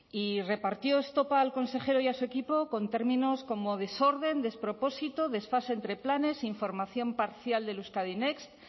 y repartió estopa al consejero y a su equipo con términos como desorden despropósito desfase entre planes información parcial del euskadi next